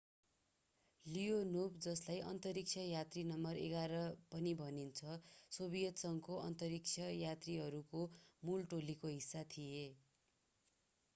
Leonov जसलाई अन्तरिक्ष यात्री नम्बर 11 पनि भनिन्छ सोभियत संघको अन्तरिक्ष यात्रीहरूको मूल टोलीको हिस्सा थिए।